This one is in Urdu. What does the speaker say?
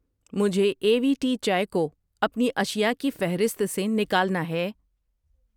مجھے اے وی ٹی چائے کو اپنی اشیاء کی فہرست سے نکالنا ہے۔